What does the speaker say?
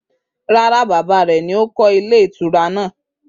Rara, baba re ni oko iyewu hoteeli nàá